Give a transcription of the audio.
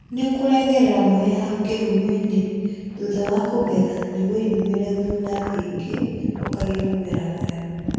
Nïkũrengerera mũhĩa hau kïhumoinĩ thutha wa kũgetha nĩguo yumïrie thuna ingĩ, ũkagĩa mũmera mwerũ